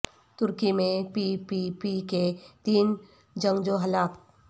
ترکی میں P P P کے تین جنگجو ہلاک